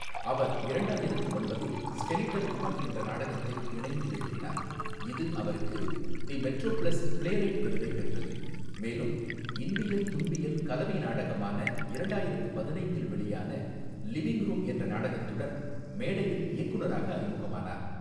அவர் இரண்டாயிரத்து ஒன்பதில் skeleton woman என்ற நாடகத்தை இணைந்து எழுதினார், இது அவருக்கு தி மெட்ரோபிளஸ் பிளேரைட் விருதை வென்றது, மேலும் இன்பியல் துன்பியல் கலவை நாடகமான இரண்டாயிரத்து பதினைந்தில் வெளியான லிவிங் ரூம் என்ற நாடகத்துடன் மேடையில் இயக்குனராக அறிமுகமானார்.